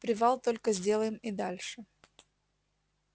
привал только сделаем и дальше